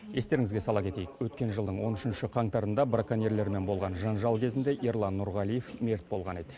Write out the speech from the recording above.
естеріңізге сала кетейік өткен жылдың он үшінші қаңтарында броконьерлермен болған жанжал кезінде ерлан нұрғалиев мерт болған еді